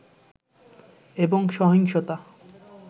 এবং সহিংসতা